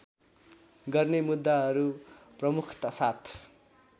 गर्ने मुद्दाहरू प्रमुखतासाथ